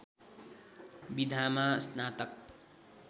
विधामा स्नातक